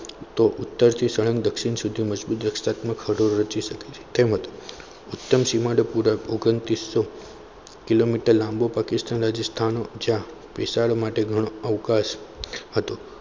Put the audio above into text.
તો ઉત્તમ થી સ્વયં દક્ષિણ સુધી તેમજ ઉત્તર સીમાડે પુરા ઓગન્તિસો કીલોમીટર લાંબો પાકિસ્તાનનો રાજસ્થાનનો જ્યાં વિશાળ માટે ઘણો અવકાશ હતો.